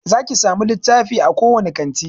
Zaki samu littafi a kowane kanti